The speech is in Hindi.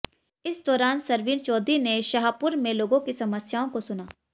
इस दौरान सरवीन चौधरी ने शाहपुर में लोगों की समस्याओं को सुना